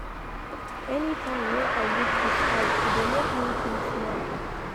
Anytime wey I look di sky, e dey make me feel small.